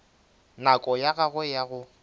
nako ya gagwe ya go